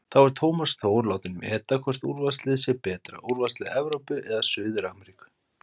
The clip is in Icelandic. Þá er Tómas Þór látinn meta hvort úrvalsliðið sé betra, úrvalslið Evrópu eða Suður-Ameríku?